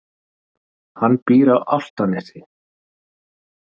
Hann býr á Álftanesi.